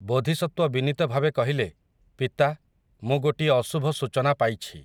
ବୋଧିସତ୍ୱ ବିନୀତଭାବେ କହିଲେ, ପିତା, ମୁଁ ଗୋଟିଏ ଅଶୁଭ ସୂଚନା ପାଇଛି ।